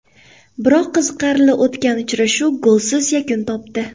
Biroq qiziqarli o‘tgan uchrashuv golsiz yakun topdi.